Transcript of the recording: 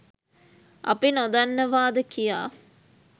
අපි නොදන්නවාද කියා